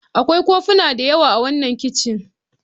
Akwai kofuna da yawa a wannan kicin.